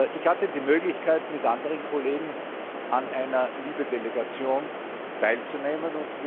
Ich hatte die Möglichkeit, mit anderen Kollegen an einer LIBE Delegation teilzunehmen.